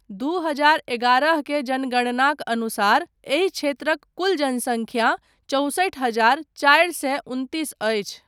दू हजार एगारह के जनगणनाक अनुसार एहि क्षेत्रक कुल जनसङ्ख्या चौसठि हजार चारि सए उनतिस अछि।